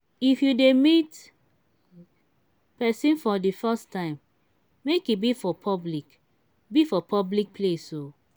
if you dey meet pesin for de first time make e be for public be for public place oo.